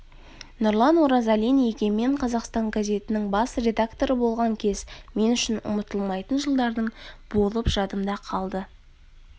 нұрлан оразалин егемен қазақстан газетінің бас редакторы болған кез мен үшін ұмытылмайтын жылдардың болып жадымда қалды